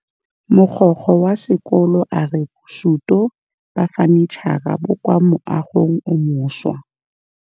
Mogokgo wa sekolo a re bosutô ba fanitšhara bo kwa moagong o mošwa.